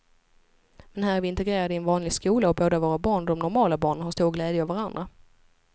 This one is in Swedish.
Men här är vi integrerade i en vanlig skola och både våra barn och de normala barnen har stor glädje av varandra.